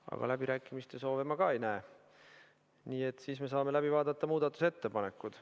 Aga ka läbirääkimiste soovi ma ei näe, nii et siis saame läbi vaadata muudatusettepanekud.